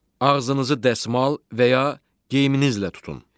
Ağzınızı dəsmal və ya geyiminizlə tutun.